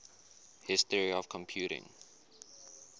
history of computing